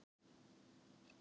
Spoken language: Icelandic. Höfum misst af tækifærum